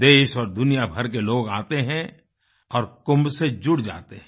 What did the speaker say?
देश और दुनिया भर के लोग आते हैं और कुंभ से जुड़ जाते हैं